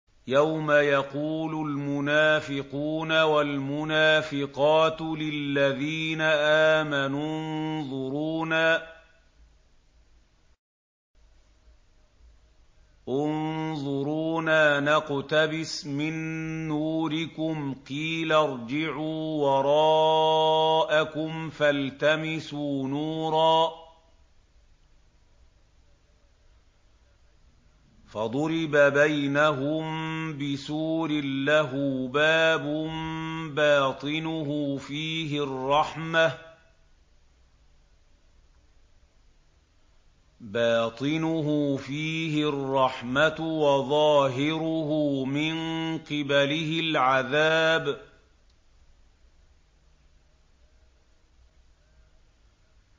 يَوْمَ يَقُولُ الْمُنَافِقُونَ وَالْمُنَافِقَاتُ لِلَّذِينَ آمَنُوا انظُرُونَا نَقْتَبِسْ مِن نُّورِكُمْ قِيلَ ارْجِعُوا وَرَاءَكُمْ فَالْتَمِسُوا نُورًا فَضُرِبَ بَيْنَهُم بِسُورٍ لَّهُ بَابٌ بَاطِنُهُ فِيهِ الرَّحْمَةُ وَظَاهِرُهُ مِن قِبَلِهِ الْعَذَابُ